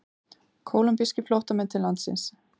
Kólumbískir flóttamenn til landsins